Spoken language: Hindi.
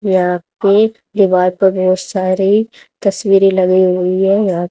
यहां पे दीवार पे बहोत सारे तस्वीरे लगी हुई है यहां--